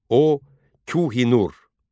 O, Kühi-Nūr.